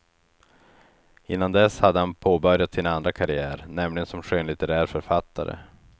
Innan dess hade han påbörjat sin andra karriär, nämligen som skönlitterär författare.